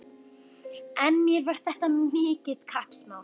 En mér var þetta mikið kappsmál.